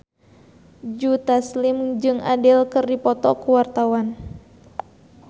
Joe Taslim jeung Adele keur dipoto ku wartawan